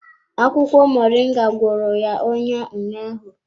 Akwụkwọ Moringa gwọrọ ya ọnya ụnyaahụ.